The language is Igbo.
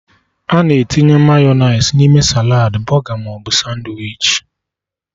Ana etinye mayọnais n'ime saladị, bọga maọbụ sandwichi